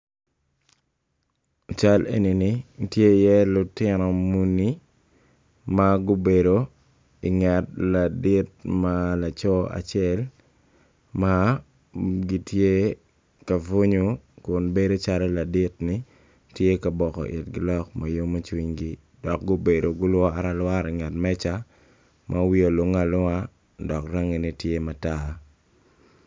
Cal eni tye iye lutino muni ma gubedo i nget ladit ma laco acel ma gitye ka bunyu kun bedo calo tye ka boko kwedgi lok ma yomo cwinygi dok gubedo gulwore alwora i nget meja ma wiye olunge alunge dok tye matar.